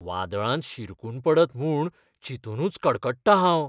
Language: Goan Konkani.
वादळांत शिरकून पडत म्हूण चिंतुनूच कडकडटां हांव.